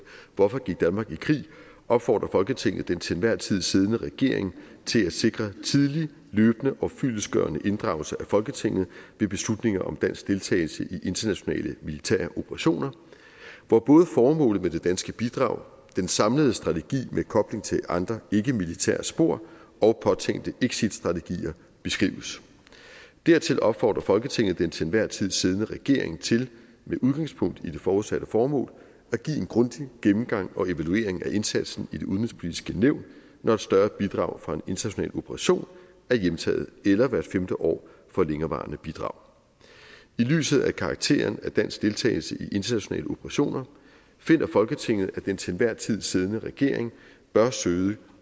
hvorfor gik danmark i krig opfordrer folketinget den til enhver tid siddende regering til at sikre tidlig løbende og fyldestgørende inddragelse af folketinget ved beslutninger om dansk deltagelse i internationale militære operationer hvor både formålet med det danske bidrag den samlede strategi med kobling til andre ikkemilitære spor og påtænkte exitstrategier beskrives dertil opfordrer folketinget den til enhver tid siddende regering til med udgangspunkt i det forudsatte formål at give en grundig gennemgang og evaluering af indsatsen i det udenrigspolitiske nævn når et større bidrag fra en international operation er hjemtaget eller hvert femte år for længerevarende bidrag i lyset af karakteren af dansk deltagelse i internationale operationer finder folketinget at den til enhver tid siddende regering bør søge